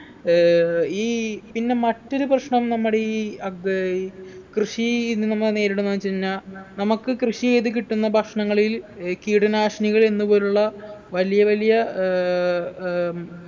ഏർ ഈ പിന്നെ മറ്റൊരു പ്രശ്നം നമ്മുടെ ഈ അത് കൃഷി ഇന്ന് നമ്മൾ നേരിടുന്ന വെച്ച് കഴിഞ്ഞ നമുക്ക് കൃഷി എയ്ത് കിട്ടുന്ന ഭക്ഷണങ്ങളിൽ ഏർ കീടനാശിനികൾ എന്ന് പോലുള്ള വലിയ വലിയ ഏർ ഏർ